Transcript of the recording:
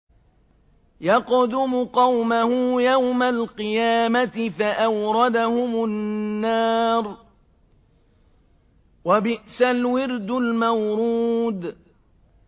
يَقْدُمُ قَوْمَهُ يَوْمَ الْقِيَامَةِ فَأَوْرَدَهُمُ النَّارَ ۖ وَبِئْسَ الْوِرْدُ الْمَوْرُودُ